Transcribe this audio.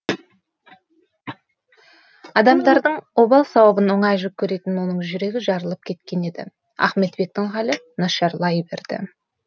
адамдардың обал сауабын оңай жүк көретін оның жүрегі жарылып кеткен еді ахметбектің халі нашарлай берді